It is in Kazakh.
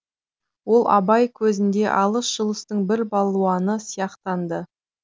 ол абай көзінде алыс жұлыстың бір балуаны сияқтанды